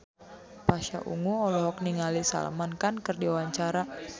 Pasha Ungu olohok ningali Salman Khan keur diwawancara